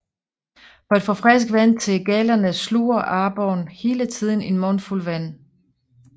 For at få frisk vand til gællerne sluger aborren hele tiden en mundfuld vand